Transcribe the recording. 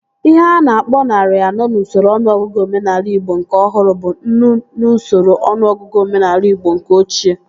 Ihe a na-akpọ narị anọ n'usoro ọnụọgụgụ omenaala igbo nke ọhụrụ bụ nnu n'usoro ọnụọgụgụ omenaala igbo nke ochie